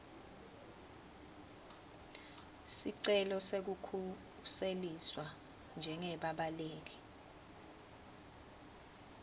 sicelo sekukhuseliswa njengebabaleki